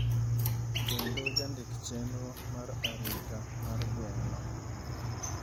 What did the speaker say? kendo jandik chenro mar arita mar gweng'no,